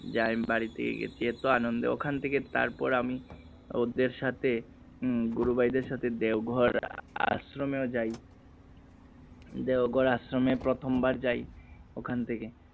যে আমি বাড়ি থেকে গেছি এতো আনন্দে ওখান থেকে তারপর আমি ওদের সাথে উম গুরু ভাইদের সাথে দেওঘর আশ্রমে ও যাই দেওঘর আশ্রমে প্রথমবার যাই ওখান থেকে